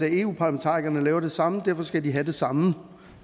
eu parlamentarikerne laver det samme og derfor skal de have det samme